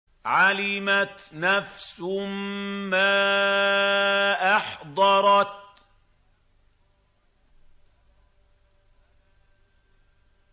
عَلِمَتْ نَفْسٌ مَّا أَحْضَرَتْ